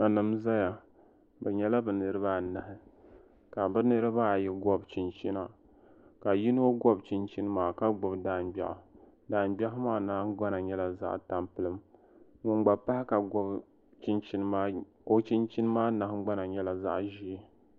Nanima n zaya bɛ nyɛla bɛ niriba anahi ka bɛ niriba ayi gɔbi chinchina ka yimo gɔbi chichini maa ka gbibi daangbeɣu daangbeɣu maa nahingbana nyɛla zaɣa tampilim ŋun gba pahi ka gɔbi chinchini maa o chinchini mama nahingbana nyɛla zaɣa ʒee.